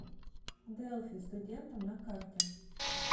делфи студентам на карте